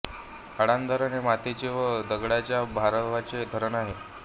अडाण धरण हे मातीच्या व दगडाच्या भरावाचे धरण आहे